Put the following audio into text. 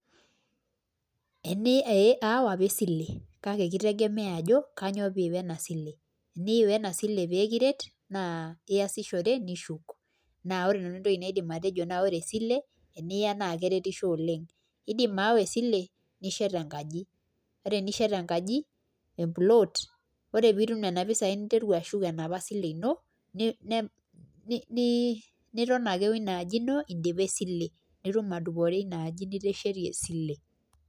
eni ee aawa apa esile kake kitegemea ajo kanyo piiwa ena sile, eniiwa ena sile pee kiiret naa iasishore nishuk naa ore nanu entoki naidim atejo naa ore esile eniya naake eretisho oleng'. Iindim ayawa esile nishet enkaji, ore enishet enkaji empluloot ore piitum nena pisai ninteru ashuk enapa sile ino ni ni ni niton ake wo ina aji ino indipa esile nitum adupore ina aji niteshetie esile.